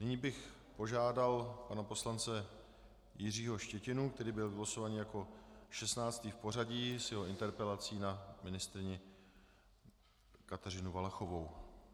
Nyní bych požádal pana poslance Jiřího Štětinu, který byl vylosován jako 16. v pořadí, s jeho interpelací na ministryni Kateřinu Valachovou.